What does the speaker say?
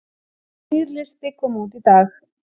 Nýr listi kom út í dag